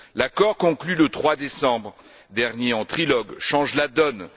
L'accord conclu le 3 décembre dernier en trilogue change la donne.